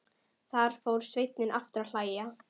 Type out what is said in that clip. Þá fór Sveinn aftur að hlæja.